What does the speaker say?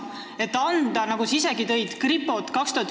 Sa isegi tõid näiteks kripo tegevust, mida me oleme siin saalis mitu korda käsitlenud.